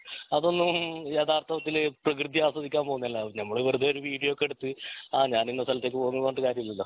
അതൊന്നും യഥാർത്ഥത്തിൽ പ്രകൃതി ആസ്വദിക്കാൻ പോകുന്നെ അല്ല നമ്മൾ വെറുതെ ഒരു വീഡിയോ ഒക്കെ എടുത്ത് ആഹ് ഞാൻ ഇന്ന സ്ഥലത്തേക്കു പോകുന്നു എന്ന് പറഞ്ഞിട്ട് കാര്യമില്ലലോ